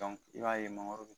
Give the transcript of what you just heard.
i b'a ye mangoro bɛ